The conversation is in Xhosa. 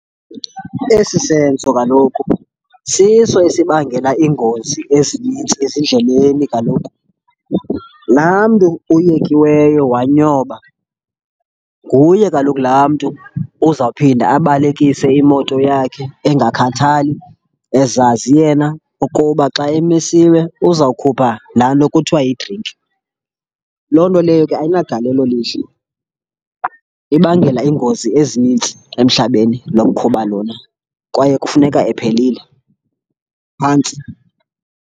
Esi senzo kaloku siso esibangela iingozi ezinintsi ezindleleni kaloku. Laa mntu uyekiweyo wanyoba nguye kaloku laa mntu uzawuphinda abalekise imoto yakhe engakhathali, ezazi yena ukuba xa emisiwe uzawukhupha laa nto kuthiwa yidrinki. Loo nto leyo ke ayinagalelo lihle, ibangela iingozi ezinintsi emhlabeni lo mkhuba lona, kwaye kufuneka ephelile. Phantsi.